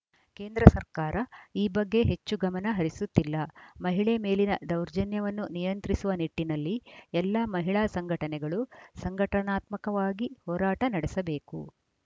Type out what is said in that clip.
ಕೇಂದ್ರ ಸರ್ಕಾರ ಈ ಬಗ್ಗೆ ಹೆಚ್ಚು ಗಮನ ಹರಿಸುತ್ತಿಲ್ಲ ಮಹಿಳೆ ಮೇಲಿನ ದೌರ್ಜನ್ಯವನ್ನು ನಿಯಂತ್ರಿಸುವ ನಿಟ್ಟಿನಲ್ಲಿ ಎಲ್ಲ ಮಹಿಳಾ ಸಂಘಟನೆಗಳು ಸಂಘಟನಾತ್ಮಕವಾಗಿ ಹೋರಾಟ ನಡೆಸಬೇಕು